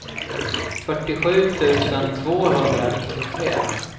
fyrtiosju tusen tvåhundranittiotre